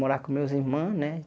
Morar com meus irmãos, né?